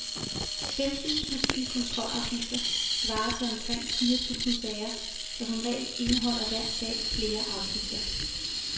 Femten tusinde kontrolafgifter svarer til omkring fire tusinde sager, for som regel indeholder hver sag flere afgifter.